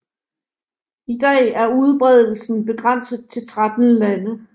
I dag er udbredelsen begrænset til 13 Lande